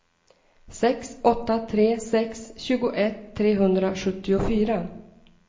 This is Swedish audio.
sex åtta tre sex tjugoett trehundrasjuttiofyra